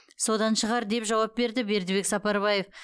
содан шығар деп жауап берді бердібек сапарбаев